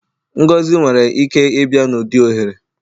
Ngọzi nwere ike ịbịa n'ụdị ohere.